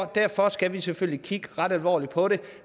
derfor skal vi selvfølgelig kigge ret alvorligt på det